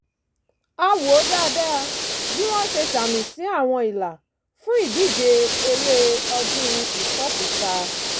a wò dáadáa bí wọ́n ṣe ṣàmì sí àwọn ìlà fún ìdíje eré ọdún ìfòkúta